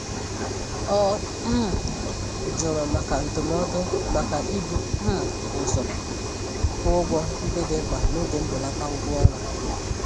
Ọ um jụrụ maka ndụmọdụ maka ibu um ụzọ kwụ ụgwọ ndị dị mkpa n'oge mbelata ụgwọọnwa.